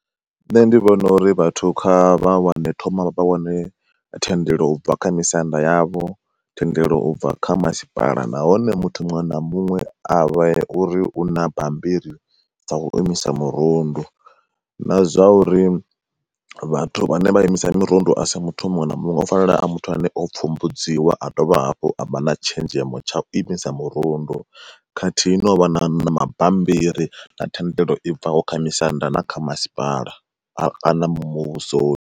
Nṋe ndi vhona uri vhathu kha vha wane thoma vha wane thendelo ubva kha misanda yavho, thendelo ubva kha masipala nahone muthu muṅwe na muṅwe avha uri una bambiri dzau imisa murundu. Na zwa uri vhathu vhane vha imisa mirundu asi muthu muṅwe na muṅwe nga u fanela a muthu ane o pfhumbudziwa a dovha hafhu avha na tshenzhemo tsha u imisa murundu, khathihi no vha na na mabammbiri na thendelo i bva kho kha misanda na kha masipala a kana muvhusoni.